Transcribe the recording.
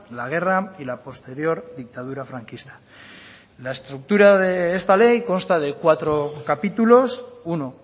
la guerra y la posterior dictadura franquista la estructura de esta ley consta de cuatro capítulos uno